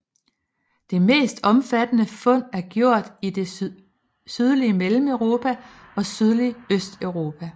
Det mest omfattende fund er gjort i det sydlige Mellemeuropa og sydlige Østeuropa